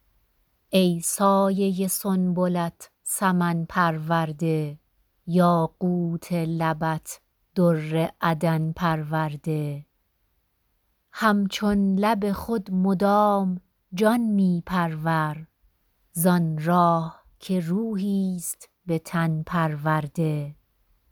ای سایه سنبلت سمن پرورده یاقوت لبت در عدن پرورده همچون لب خود مدام جان می پرور زان راح که روحیست به تن پرورده